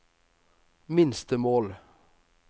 minstemål